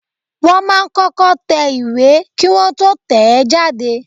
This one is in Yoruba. Wọ́n máa ń kọ́kọ́ tẹ ìwé Kí Wọ́n tó tẹ̀ ẹ́ jáde.